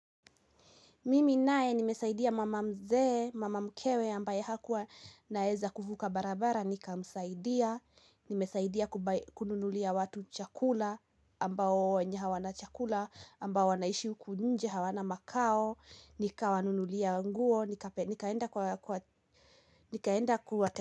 Mimi naye nimesaidia mama mzee, mama mkewe ambaye hakuwa naeza kuvuka barabara, nikamsaidia, nimesaidia kununulia watu chakula, ambao wenye hawana chakula, ambao wanaishi huku nje hawana makao, nikawanunulia nguo, nikaenda kuwate.